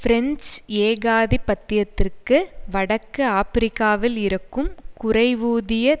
French ஏகாதிபத்தியத்திற்கு வடக்கு ஆபிரிக்காவில் இருக்கும் குறைவூதிய